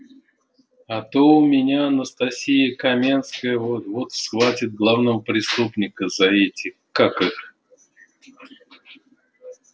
а то у меня анастасия каменская вот-вот схватит главного преступника за эти как их